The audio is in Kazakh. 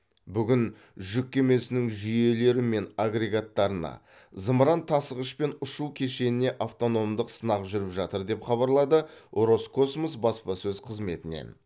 бүгін жүк кемесінің жүйелері мен агрегаттарына зымыран тасығыш пен ұшу кешеніне автономдық сынақ жүріп жатыр деп хабарлады роскосмос баспасөз қызметінен